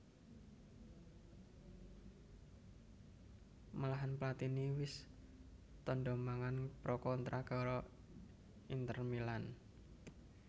Malahan Platini wis tandha tangan pra kontrak karo Inter Milan